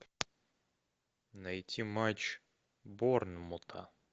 найти матч борнмута